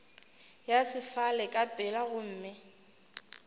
ya sefala ka pela gomme